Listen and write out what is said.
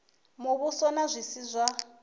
muvhuso na zwi si zwa